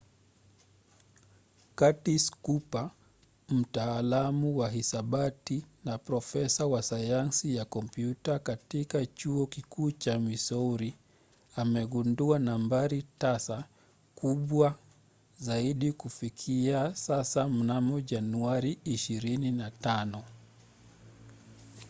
curtis cooper mtaalamu wa hisabati na profesa wa sayansi ya kompyuta katika chuo kikuu cha missouri amegundua nambari tasa kubwa zaidi kufikia sasa mnamo januari 25